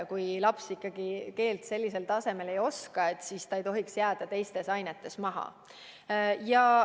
Kui laps ikkagi keelt sellisel tasemel ei oska, siis ta ei tohiks jääda teistes ainetes maha.